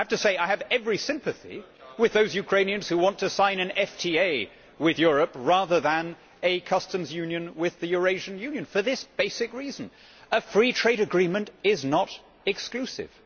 I have to say I have every sympathy with those Ukrainians who want to sign an FTA with Europe rather than a customs union with the Eurasian Union, for this basic reason a free trade agreement is not exclusive.